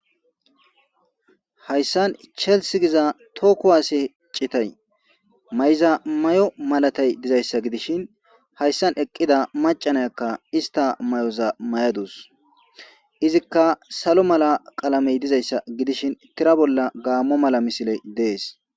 Hayssan chels giza tooku waase citay may'iza may'o malatay dizayssa gidishin hayssan eqqida macanayakka ista may'oza may'aduus izikka salo mala qalamey dizayssa gidishin tira bolla gaammo mala misile dees.